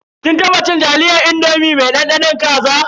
Kin taba cin taliyar indomi mai dandanon kaza.